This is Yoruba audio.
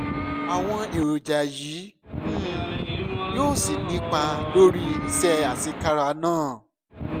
àwọn èròjà yìí um yóò sì nípa lórí iṣẹ́ àṣekára náà